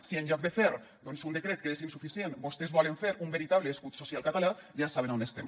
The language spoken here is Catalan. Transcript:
si en lloc de fer doncs un decret que és insuficient vostès volen fer un veritable escut social català ja saben on estem